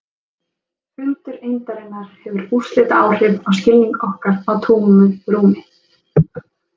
Fundur eindarinnar hefur úrslitaáhrif á skilning okkar á tómu rúmi.